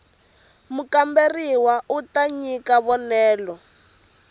mukamberiwa u ta nyika vonelo